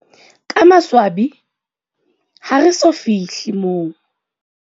Ka maswabi, ha re so fi hle moo.